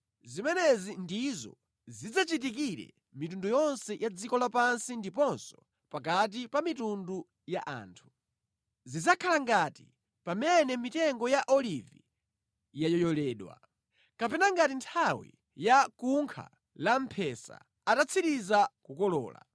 Zimenezi ndizo zidzachitikire mitundu yonse ya dziko lapansi ndiponso pakati pa mitundu ya anthu. Zidzakhala ngati pamene mitengo ya olivi yayoyoledwa, kapena ngati nthawi ya kunkha la mphesa atatsiriza kukolola.